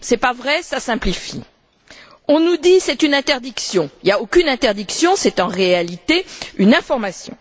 Ce n'est pas vrai, ça simplifie. On nous dit c'est une interdiction. Il n'y a aucune interdiction, c'est en réalité une information.